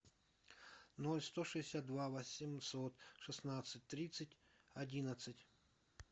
ноль сто шестьдесят два восемьсот шестнадцать тридцать одиннадцать